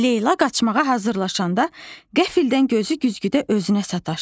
Leyla qaçmağa hazırlaşanda qəfildən gözü güzgüdə özünə sataşdı.